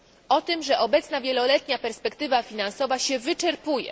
o tym, że obecna wieloletnia perspektywa finansowa się wyczerpuje.